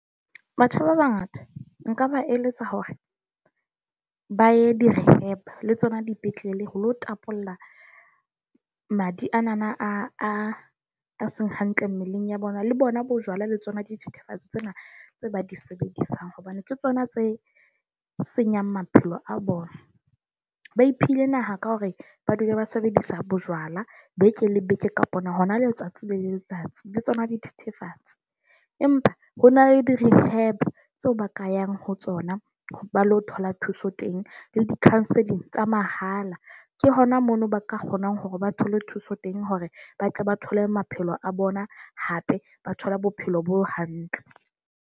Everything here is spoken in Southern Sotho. Batho ba bangata nka ba eletsa hore ba ye di -rehab, le tsona dipetlele ho lo tapolla madi a nana a seng hantle mmeleng ya bona. Le bona bo jwala, le tsona dithethefatsi tsena tse ba di sebedisang hobane ke tsona tse senyang maphelo a bona. Ba iphile naha ka hore ba dule ba sebedisa bojwala beke le beke, kapa hona letsatsi le letsatsi le tsona dithethefatsi. Empa ho na le di-rehab tseo ba ka yang ho tsona ba ilo thola thuso teng le di-counselling tsa mahala. Ke hona mono ba ka kgonang hore ba thole thuso teng, hore ba tle ba thole maphelo a bona hape ba thole ba bophelo bo hantle.